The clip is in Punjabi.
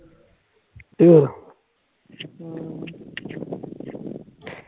ਅਮ